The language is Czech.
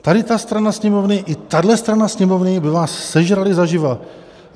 Tady ta strana Sněmovny i tahle strana Sněmovny by vás sežrali zaživa.